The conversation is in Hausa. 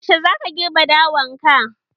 Yaushe za ka girbe dawan ka?